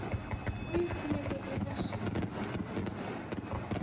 u yi kumeke eka xirungulwana